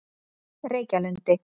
Reykjalundi